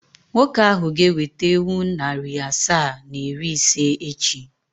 Nwoke ahụ ga-eweta ewu narị asaa na iri ise echi.